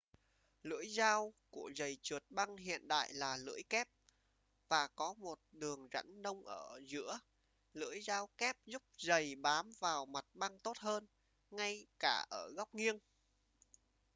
lưỡi dao của giầy trượt băng hiện đại là lưỡi kép và có một đường rãnh nông ở giữa lưỡi dao kép giúp giầy bám vào mặt băng tốt hơn ngay cả ở góc nghiêng